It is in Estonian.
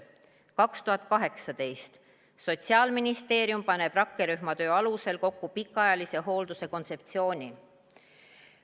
2018. aastal pani Sotsiaalministeerium rakkerühma töö alusel kokku pikaajalise hoolduse kontseptsiooni.